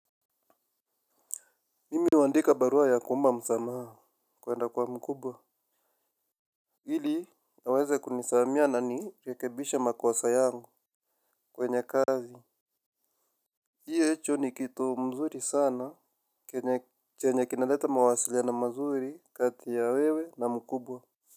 Mimi huandika barua ya kuomba msamaha kuenda kwa mkubwa. Ili aweze kunisamehea na nirekebishe makosa yangu kwenye kazi. Hicho ni kitu mzuri sana chenye chenye kinaleta mawasiliano mazuri kati ya wewe na mkubwa.